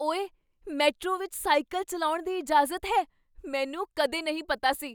ਓਏ! ਮੈਟਰੋ ਵਿੱਚ ਸਾਈਕਲ ਚੱਲਾਉਣ ਦੀ ਇਜਾਜ਼ਤ ਹੈ। ਮੈਨੂੰ ਕਦੇ ਨਹੀਂ ਪਤਾ ਸੀ।